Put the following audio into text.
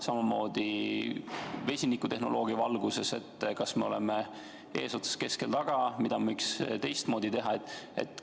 Samamoodi vesinikutehnoloogia valguses: kas me oleme eesotsas, keskel või taga ning mida võiks teistmoodi teha?